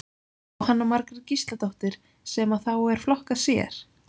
Jóhanna Margrét Gísladóttir: Sem að þá er flokkað sér?